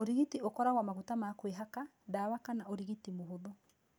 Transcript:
Ũrigiti ũkoragwo maguta ma kwĩhaka, dawa kana ũrigiti mũhũthũ.